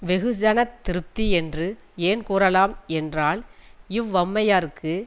வெகுஜனத் திருப்தி என்று ஏன் கூறலாம் என்றால் இவ்வம்மையாருக்கு